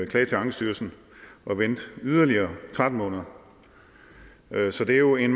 klage til ankestyrelsen og vente yderligere tretten måneder så det er jo en